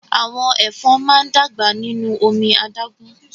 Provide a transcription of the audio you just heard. Àwọn ẹ̀fọn máa n dàgbà nínú omi adágún.